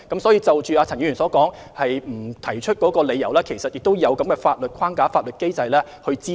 所以，就陳議員所言處方不提出理由一事，事實上是有法律機制以供查詢。